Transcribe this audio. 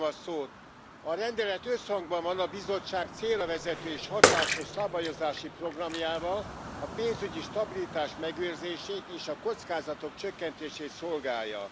A rendelet összhangban van a Bizottság célravezető és hatásos szabályozási programjával, a pénzügyi stabilitás megőrzését és a kockázatok csökkentését szolgálja.